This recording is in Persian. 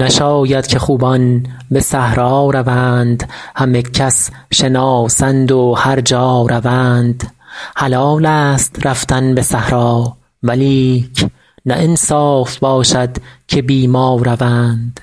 نشاید که خوبان به صحرا روند همه کس شناسند و هر جا روند حلالست رفتن به صحرا ولیک نه انصاف باشد که بی ما روند